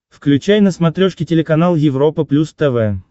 включай на смотрешке телеканал европа плюс тв